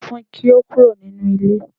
Sọ fun kí ó kúrò nínú ilé